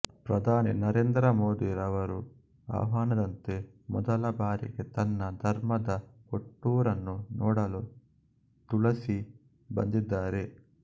ಪ್ರಧಾನಿ ನರೇಂದ್ರ ಮೋದಿ ಯವರ ಆಹ್ವಾನದಂತೆ ಮೊದಲಬಾರಿಗೆ ತನ್ನ ಧರ್ಮದ ಹುಟ್ಟೂರನ್ನು ನೋಡಲು ತುಳಸಿ ಬಂದಿದ್ದಾರೆ